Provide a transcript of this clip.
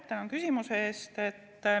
Tänan küsimuse eest!